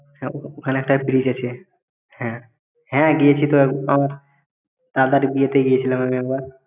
হ্যাঁ ওইখানে একটা bridge আছে হ্যাঁ গিয়েছি তো একবার দাদার বিয়েতে গেছিলাম আমি একবার